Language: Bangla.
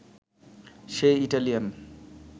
সে ইটালিয়ান